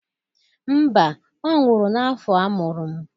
Mba, ọ nwụrụ n'afọ amụrụ m.